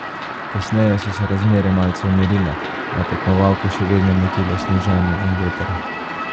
Kasneje so se razmere malce umirile, a je tekmovalke še vedno motilo sneženje in veter.